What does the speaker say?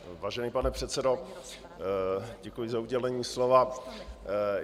Vážený pane předsedo, děkuji za udělení slova.